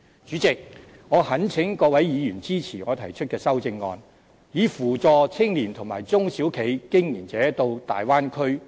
主席，我懇請各位議員支持我提出的修正案，以扶助青年和中小企經營者前往大灣區發展。